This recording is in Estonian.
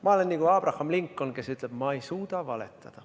Ma olen nagu Abraham Lincoln, kes ütles, et ta ei suuda valetada.